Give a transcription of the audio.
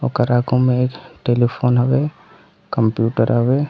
ओकर आगू में एक टेलीफोन हवे कंप्यूटर हवे--